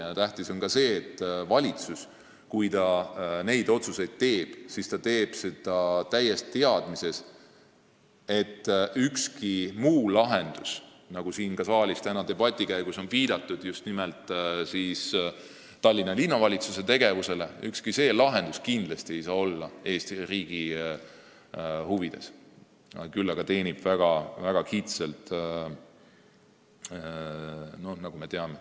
Tähtis on ka see, et valitsus, kui ta neid otsuseid teeb, teeks seda täies teadmises, et ükski muu lahendus – siin saalis on täna debati käigus viidatud just nimelt Tallinna Linnavalitsuse tegevusele – ei ole Eesti riigi huvides, vaid teenib väga kitsalt kellegi huve, nagu me teame.